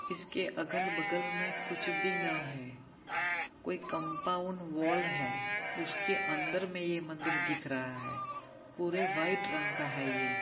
इसके अगल बगल मे कुछ भी न है कोई कंपाउंड वॉल है उसके अंदर ये मंदिर दिख रहा है पूरे व्हाइट रंग का हैये ।